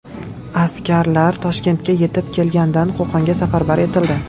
Askarlar Toshkentga yetib kelganidan Qo‘qonga safarbar etildi.